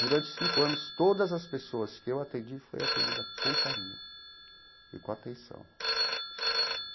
Durante cinco anos, todas as pessoas que eu atendi, foi atendida com carinho e com atenção.